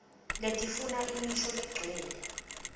letifuna imisho legcwele